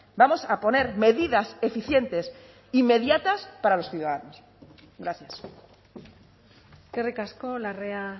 vamos a poner medidas eficientes inmediatas para los ciudadanos gracias eskerrik asko larrea